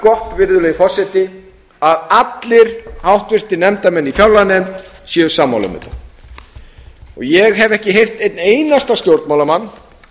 gott virðulegi forseti að allir háttvirtir nefndarmenn í fjárlaganefnd séu sammála um þetta ég hef ekki heyrt einn einasta stjórnmálamann